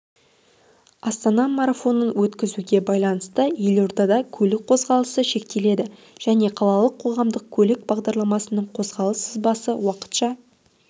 астана марафонын өткізуге байланысты елордада көлік қозғалысы шектеледі және қалалық қоғамдық көлік бағдарларының қозғалыс сызбасы уақытша